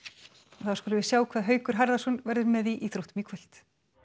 þá skulum við sjá hvað Haukur Harðarson verður með í íþróttum í kvöld